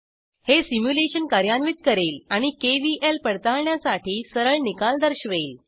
हे सिम्युलेशन कार्यान्वित करेल आणि केव्हीएल पडताळण्यासाठी सरळ निकाल दर्शवेल